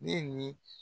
Ne ni